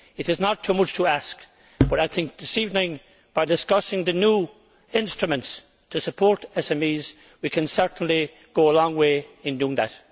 It is not too much to ask, and this evening, by discussing the new instruments to support SMEs, we can certainly go a long way in doing that.